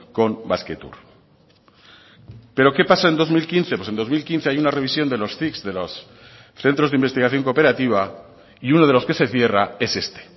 con basquetour pero qué pasa en dos mil quince pues en dos mil quince hay una revisión de los cic de loscentros de investigación cooperativa y uno de los que se cierra es este